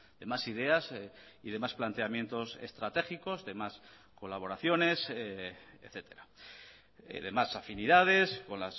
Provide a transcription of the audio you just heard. de más ideas y de más planteamientos estratégicos de más colaboraciones etcétera de más afinidades con